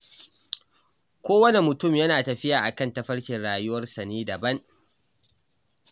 Kowane mutum yana tafiya a kan tafarkin rayuwarsa ne daban.